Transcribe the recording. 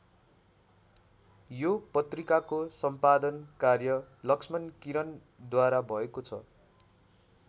यो पत्रिकाको सम्पादन कार्य लक्ष्मण किरणद्वारा भएको छ।